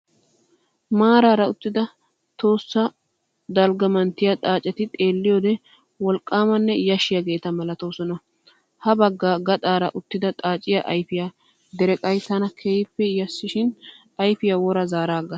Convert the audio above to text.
Maaraara uttida tohossa dalgga manttiyaa xaaceti xeelliyoode wolqqaamanne yashshiyaageeta malatoosona. Habagga gaxaara uttida xaaciyaa ayifiyaa dereqayii tana keehippe yashshin ayifiyaa wora zaaraagas.